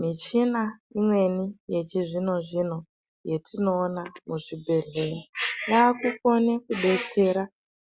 Michina imweni yechizvinozvino yetinoona muzvibhehlera yakukone kudetsera